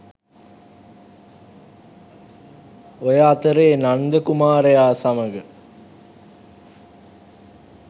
ඔය අතරේ නන්ද කුමාරයා සමඟ